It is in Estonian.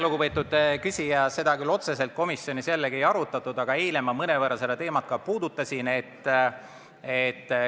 Lugupeetud küsija, seda otseselt komisjonis ei arutatud, aga eile ma mõnevõrra seda teemat puudutasin.